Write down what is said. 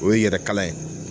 O ye yɛrɛ kalan ye.